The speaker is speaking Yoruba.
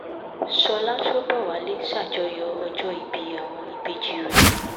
ṣọ́lá ṣọ́bọ̀wálé ṣàjọyọ̀ ọjọ́ ìbí àwọn ìbejì rẹ̀